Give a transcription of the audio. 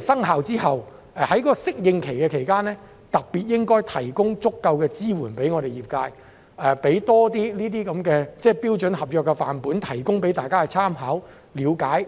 生效之後的適應期期間，特別向業界提供足夠支援，包括給予他們多一些標準的合約範本以供參考及了解。